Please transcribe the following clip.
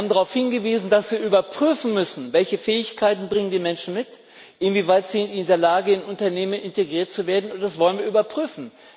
Wir haben darauf hingewiesen, dass wir überprüfen müssen, welche Fähigkeiten die Menschen mitbringen, inwieweit sie in der Lage sind in Unternehmen integriert zu werden, und das wollen wir überprüfen.